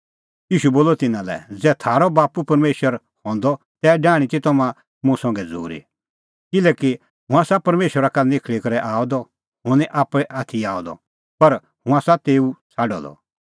ईशू बोलअ तिन्नां लै ज़ै थारअ बाप्पू परमेशर हंदअ तै डाहणीं ती तम्हां मुंह संघै झ़ूरी किल्हैकि हुंह आसा परमेशरा का निखल़ी करै आअ द हुंह निं आप्पै आथी आअ द पर हुंह आसा तेऊ छ़ाडअ द